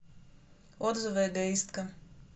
отзывы эгоистка